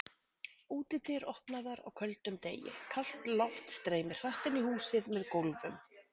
Útidyr opnaðar á köldum degi, kalt loft streymir hratt inn í húsið með gólfum.